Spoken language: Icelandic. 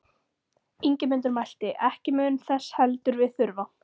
Ingimundur mælti: Ekki mun þess heldur við þurfa.